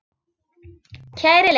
Kæri Leifi,